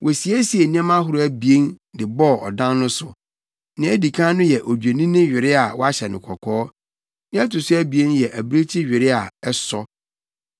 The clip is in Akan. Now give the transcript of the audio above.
Wosiesiee nneɛma ahorow abien de bɔɔ ɔdan no so. Nea edi kan no yɛ odwennini were a wahyɛ no kɔkɔɔ, nea ɛto so abien yɛ abirekyi were a ɛsɔ.